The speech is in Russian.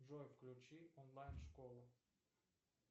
джой включи онлайн школу